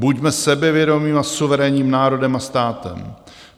Buďme sebevědomým a suverénním národem a státem.